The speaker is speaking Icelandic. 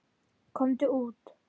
Komdu út!